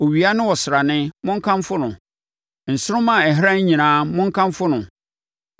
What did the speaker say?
Owia ne ɔsrane, monkamfo no, nsoromma a ɛhran nyinaa, monkamfo no.